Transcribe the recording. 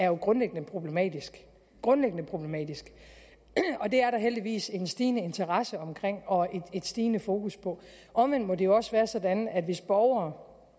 jo er grundlæggende problematisk grundlæggende problematisk og det er der heldigvis en stigende interesse omkring og et stigende fokus på omvendt må det jo også være sådan at borgere